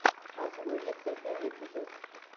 азула вектор первый эпизод